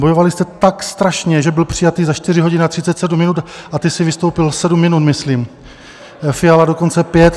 Bojovali jste tak strašně, že byl přijatý za 4 hodiny a 37 minut, a ty jsi vystoupil sedm minut, myslím, Fiala dokonce pět.